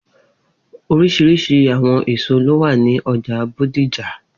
Oriṣiriṣi awọn eso lo wa ni ọja Bódìjà